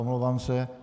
Omlouvám se.